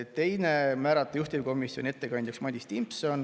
Teiseks, määrata juhtivkomisjoni ettekandjaks Madis Timpson.